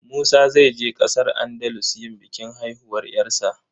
Musa zai je ƙasar Andalus yin bikin haihuwar 'yarsa.